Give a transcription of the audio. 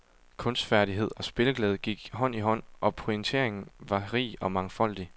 Kunstfærdighed og spilleglæde gik hånd i hånd og pointeringen var rig og mangfoldig.